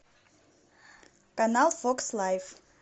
канал фокс лайф